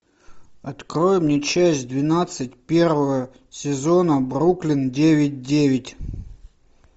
открой мне часть двенадцать первого сезона бруклин девять девять